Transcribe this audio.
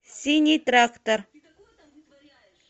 синий трактор